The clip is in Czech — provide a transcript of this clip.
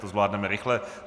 To zvládneme rychle.